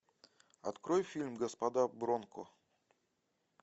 открой фильм господа бронко